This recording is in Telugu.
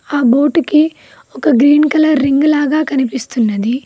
ఆ బోటికి ఒక గ్రీన్ కలర్ రింగ్ లాగా కనిపిస్తున్నది.